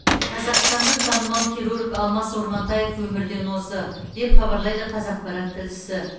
қазақстандық танымал хирург алмас ормантаев өмірден озды деп хабарлайды қазақпарат тілшісі